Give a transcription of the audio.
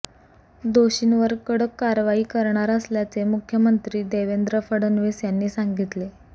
दोषींवर कडक कारवाई करणार असल्याचे मुख्यमंत्री देवेंद्र फडणवीस यांनी सांगितले